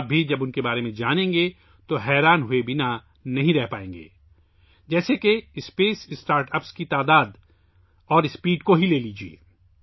جب آپ ان کے بارے میں جانیں گے تو آپ بھی حیران ہوئے بغیر نہیں رہ پائیں گے، مثال کے طور پر خلائی اسٹارٹ اپس کی تعداد اور رفتار کو دیکھیں